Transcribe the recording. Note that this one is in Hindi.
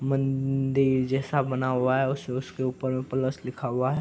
मंदिर जैसा बना हुआ है उस उसके ऊपर में प्लस लिखा हुआ है।